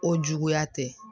O juguya te